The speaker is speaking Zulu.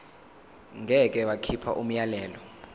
ngeke bakhipha umyalelo